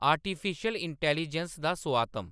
artificial intelligence दा सोआतम